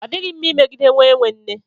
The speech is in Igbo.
Ọ dịghị mma imegide nwa enwe nne.